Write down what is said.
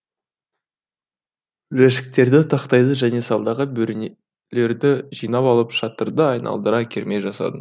жәшіктерді тақтайды және салдағы бөренелерді жинап алып шатырды айналдыра керме жасадым